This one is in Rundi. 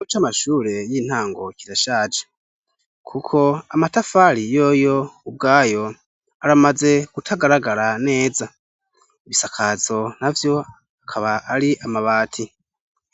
Ikigo c' amashure y'intango kirashaje, kuko amatafari yoyo ubwayo aramaze kutagaragara neza. Ibisakazo navyo akaba ari amabati.